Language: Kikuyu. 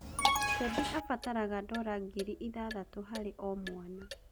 Kedi abataraga ndora ngiri ithathatũ harĩ o-mwana.